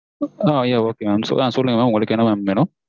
ஆஹ் yeah okay mam சொல்லுங்க mam உங்களுக்கு என்ன mam வேணும்.